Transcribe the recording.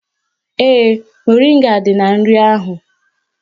Ee, moringa dị na nri ahụ